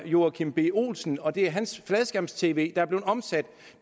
joachim b olsen og det er hans fladskærms tv der er blevet omsat